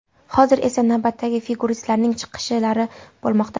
Hozir esa navbatdagi figuristlarning chiqishlari bo‘lmoqda.